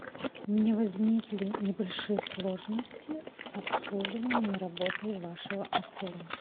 у меня возникли небольшие сложности с обслуживанием и работой вашего отеля